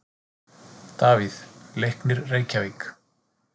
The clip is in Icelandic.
Davíð: Leiknir Reykjavík